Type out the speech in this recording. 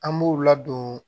An b'u ladon